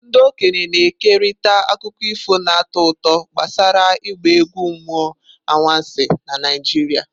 Ndị okenye na-ekerịta akụkọ ifo na-atọ ụtọ gbasara ịgba egwu mmụọ anwansi na Naijiria.